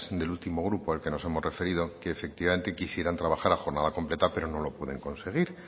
del último grupo al que nos hemos referido que efectivamente quisieran trabajar a jornada completa pero no lo pueden conseguir